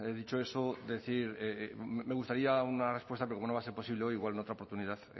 dicho eso decir me gustaría una respuesta pero como no va a ser posible hoy igual en otra oportunidad